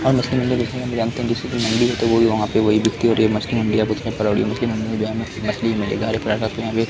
वही वहाँ पे वही बिकती है और ये मचिलियाँ --